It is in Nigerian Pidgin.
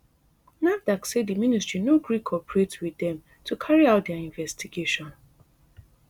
nafdac say di ministry no gree cooperate wit dem to carry out dia investigation